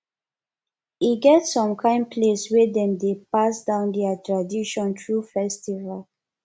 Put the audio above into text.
e get som kain place wey dem dey pass down dia tradition thru festival